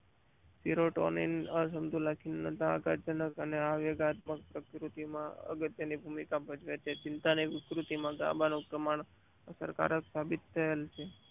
પેરોડેલિક આ સંતુલિત ખીલતા આઘાત જનક અને અનિવાર્ય સંકૃતિમાં અગત્યની ભૂમિકા ભજવે છે ચિંતા ની વિકૃતિમાં ગર્ભનો પ્રમાણ અસર કારક સાબિત થાય છે.